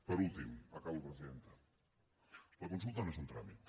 per últim acabo presidenta la consulta no és un tràmit